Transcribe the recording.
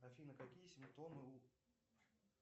афина какие симптомы у